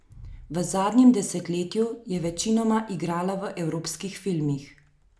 V zadnjem desetletju je večinoma igrala v evropskih filmih.